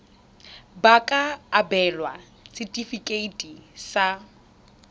ba ka abelwa setefikeiti sa